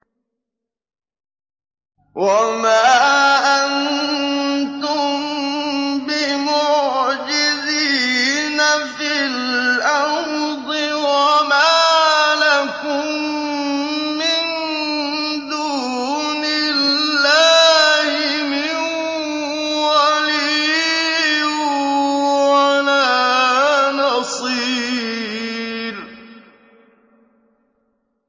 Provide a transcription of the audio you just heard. وَمَا أَنتُم بِمُعْجِزِينَ فِي الْأَرْضِ ۖ وَمَا لَكُم مِّن دُونِ اللَّهِ مِن وَلِيٍّ وَلَا نَصِيرٍ